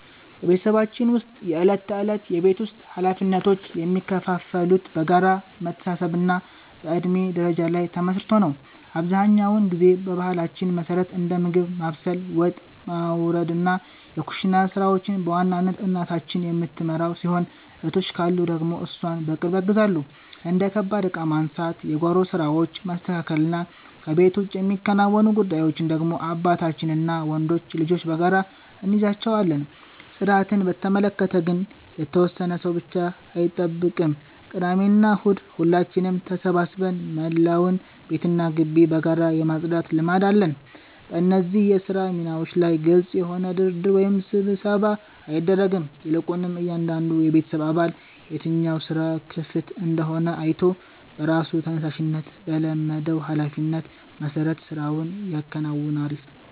በቤተሰባችን ውስጥ የዕለት ተዕለት የቤት ውስጥ ኃላፊነቶች የሚከፋፈሉት በጋራ መተሳሰብና በእድሜ ደረጃ ላይ ተመስርቶ ነው። አብዛኛውን ጊዜ በባህላችን መሠረት እንደ ምግብ ማብሰል፣ ወጥ ማውረድና የኩሽና ሥራዎችን በዋናነት እናታችን የምትመራው ሲሆን፣ እህቶች ካሉ ደግሞ እሷን በቅርብ ያግዛሉ። እንደ ከባድ ዕቃ ማንሳት፣ የጓሮ ሥራዎችን ማስተካከልና ከቤት ውጭ የሚከናወኑ ጉዳዮችን ደግሞ አባታችንና ወንዶች ልጆች በጋራ እንይዛቸዋለን። ጽዳትን በተመለከተ ግን የተወሰነ ሰው ብቻ አይጠብቅም፤ ቅዳሜና እሁድ ሁላችንም ተሰባስበን መላውን ቤትና ግቢ በጋራ የማጽዳት ልማድ አለን። በእነዚህ የሥራ ሚናዎች ላይ ግልጽ የሆነ ድርድር ወይም ስብሰባ አይደረግም፤ ይልቁንም እያንዳንዱ የቤተሰብ አባል የትኛው ሥራ ክፍት እንደሆነ አይቶ በራሱ ተነሳሽነትና በለመደው ኃላፊነት መሠረት ሥራውን ያከናውናል።